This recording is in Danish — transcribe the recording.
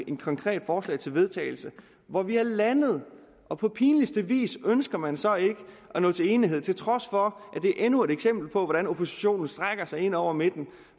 et konkret forslag til vedtagelse hvor vi var landet og på pinligste vis ønsker man så ikke at nå til enighed til trods for at det er endnu et eksempel på hvordan oppositionen strækker sig ind over midten